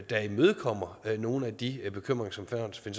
der imødekommer nogle af de bekymringer som